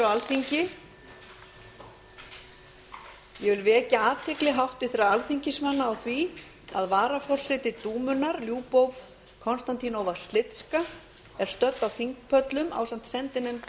ég vil vekja athygli háttvirtra alþingismanna á því að varaforseti dúmunnar lyubov k sliska er stödd á þingpöllum ásamt sendinefnd